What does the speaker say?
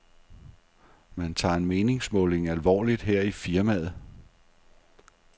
Man tager en meningsmåling alvorligt her i firmaet.